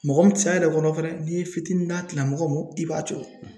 Mɔgɔ min cɛ yɛrɛ kɔrɔ fɛnɛ n'i ye fitinin d'a tigi la mɔgɔ ma i b'a coron